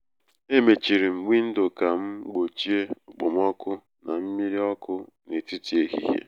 e mechiri m windo ka m gbochie okpomọkụ na mmírí ọkụ n'etiti ehihie.